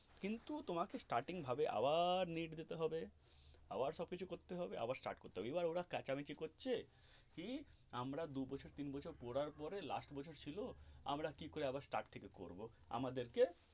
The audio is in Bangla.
কিন্তু তোমাকে starting ভাবে আবার NEET দিতে হবে আবার সব কিছু করতে হবে আবার start করতে হবে এবার ওরা চ্যাঁচামেচি করছে কি আমরা দু বছর তিন বছর পড়ার পরে last বছর ছিলো আমরা কি করে আবার start থেকে পড়বো আমাদের কে.